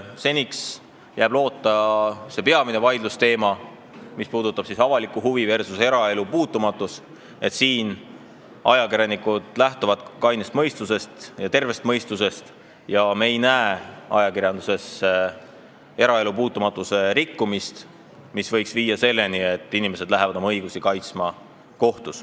Seniks jääb loota, et selle peamise vaidlusteema puhul, avalik huvi versus eraelu puutumatus, lähtuvad ajakirjanikud kainest ja tervest mõistusest ning me ei näe ajakirjanduses eraelu puutumatuse rikkumist, mis võiks viia selleni, et inimesed lähevad oma õigusi kaitsma kohtusse.